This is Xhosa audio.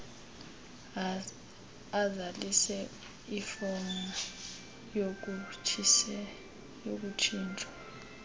azalise ifom yokutshintshwa